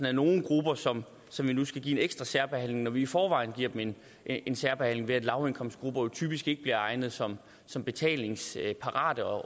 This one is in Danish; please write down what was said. er nogle grupper som som vi nu skal give en ekstra særbehandling når vi i forvejen giver dem en særbehandling ved at man i lavindkomstgrupper jo typisk ikke bliver regnet som som betalingsparat og